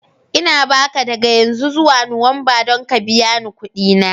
Ina ba ka daga yanzu zuwa Nuwamba don ka biya ni kuɗi na.